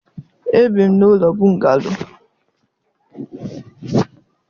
Ebi m n'ụlọ bungalo